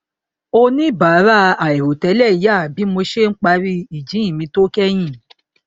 oníbàárà àìrò tẹlẹ yà bí mo ṣe n parí ìjíhìn mi tó kẹyìn